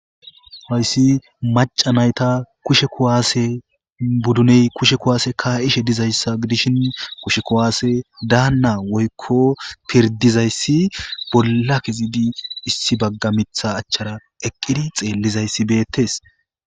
Hayssi maca nayta kushe kuwaase budduney kushe kuwaase ka7ishe dizayssa gidishin kushe kuwaase daanna woykko pirdizayssi bolla kezidi issi bagga mitha achchara eqqidi xeellizayssi beettes